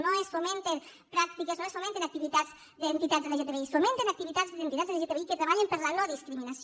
no es fomenten pràctiques no es fomenten activitats d’entitats lgtbi es fomenten activitats d’entitats lgtbi que treballen per la no discriminació